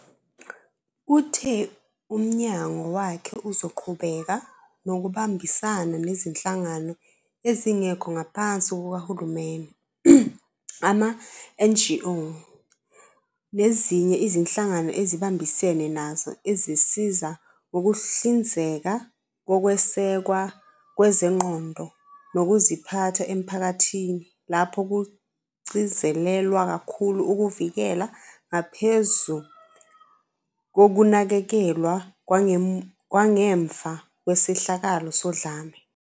Uthe umnyango wakhe uzoqhubeka nokubambisana nezinhlangano ezingekho ngaphansi kukahulumeni, ama-NGO, nezinye izinhlangano esibambisene nazo ezisiza ngokuhlinzeka ngokwesekwa kwezengqondo nokuziphatha emphakathini lapho kugcizelelwa kakhulu ukuvikela ngaphezu kokunakekelwa kwangemva kwesehlakalo sodlame.